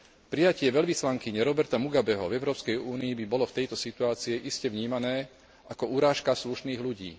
Prijatie veľvyslankyne Roberta Mugabeho v Európskej únii by bolo v tejto situácii iste vnímané ako urážka slušných ľudí.